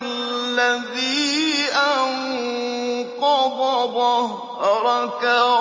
الَّذِي أَنقَضَ ظَهْرَكَ